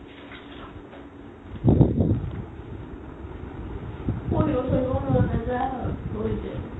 পঢ়িব চঢ়িব মন নাজাই আৰু নপঢ়িলে